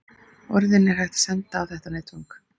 Orðin er hægt að senda á þetta netfang.